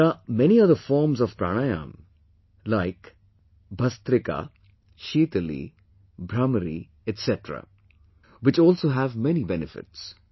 But there are many other forms of Pranayamas like 'Bhastrika', 'Sheetali', 'Bhramari' etc, which also have many benefits